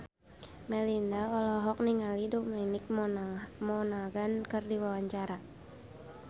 Melinda olohok ningali Dominic Monaghan keur diwawancara